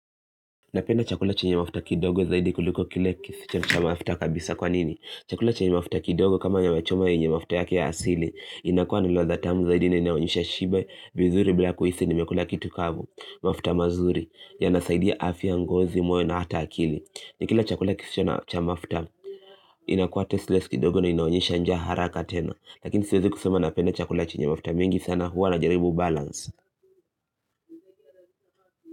Napenda chakula chenye mafuta kidogo zaidi kuliko kile kisicho cha mafuta kabisa kwa nini? Chakula chenye mafuta kidogo kama nyama choma yenye mafuta yake ya asili inakua ni ladha tamu zaidi inayoonyesha shibe, vizuri, bila kuhisi, nimekula kitu kavu mafuta mazuri, yanasaidia afya, ngozi, moyo na hata akili. Nikila chakula kisicho na cha mafuta inakua tasteless kidogo na inaonyesha njaa haraka tena. Lakini siwezi kusema napenda chakula chenye mafuta mengi sana huwa najaribu balance.